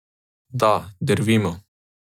Da, drvimo.